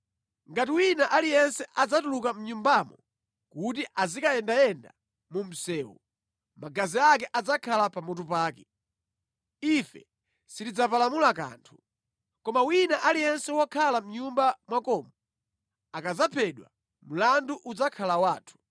Ngati wina aliyense adzatuluka mʼnyumbamo kuti azikayendayenda mu msewu, magazi ake adzakhala pamutu pake, ife sitidzapalamula kanthu. Koma wina aliyense wokhala mʼnyumba mwakomo akadzaphedwa, mlandu udzakhala wathu.